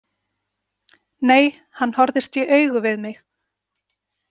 Nei, hann horfist í augu við mig.